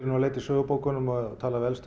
að leita í sögubókunum og tala við elstu